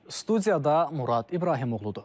Studiyada Murad İbrahimoğludur.